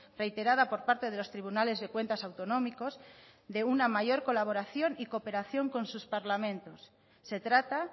reiterada por parte de los tribunales de cuentas autonómicos de una mayor colaboración y cooperación con sus parlamentos se trata